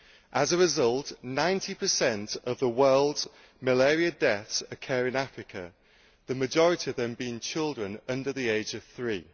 As a result, 90 of the world's malaria deaths occur in Africa, the majority of them being children under the age of three.